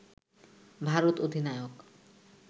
ভারত অধিনায়ক